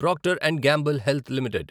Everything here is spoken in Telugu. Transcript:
Procter and Gamble Health limited